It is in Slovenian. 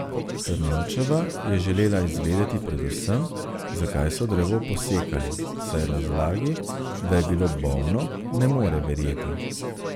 Trnovčeva je želela izvedeti predvsem, zakaj so drevo posekali, saj razlagi, da je bilo bolno, ne more verjeti.